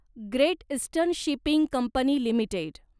great eastern shipping company limited